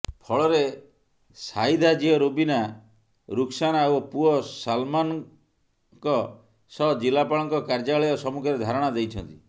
ଫଳରେ ସାହିଦା ଝିଅ ରୁବିନା ରୁକସାନା ଓ ପୁଅ ସାଲମାନଙ୍କ ସହ ଜିଲ୍ଲାପାଳଙ୍କ କାର୍ଯ୍ୟାଳୟ ସମ୍ମୁଖରେ ଧାରଣା ଦେଇଛନ୍ତି